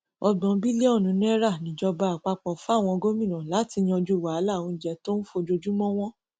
ọgbọn bílíọnù náírà níjọba àpapọ fáwọn gómìnà láti yanjú wàhálà oúnjẹ tó ń fojoojúmọ wọn